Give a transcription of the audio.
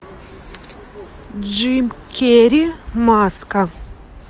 джим керри маска